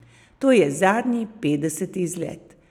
To je zadnji, petdeseti izlet.